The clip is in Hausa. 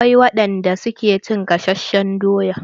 Akwai wadan da suke cin gasashen doya.